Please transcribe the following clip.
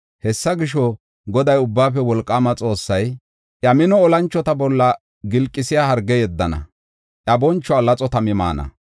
Hessa gisho, Goday, Ubbaafe Wolqaama Xoossay, iya mino olanchota bolla gilqisiya harge yeddana. Iya bonchuwa laxo tami maana.